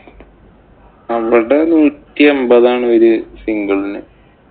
അവിടെ നൂറ്റിഅമ്പതാണ് ഒരു single ഇന്.